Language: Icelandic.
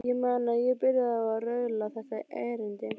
Ég man að ég byrjaði á að raula þetta erindi: